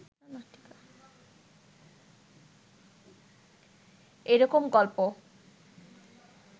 এ রকম গল্প